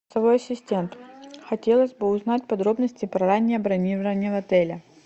голосовой ассистент хотелось бы узнать подробности про раннее бронирование в отеле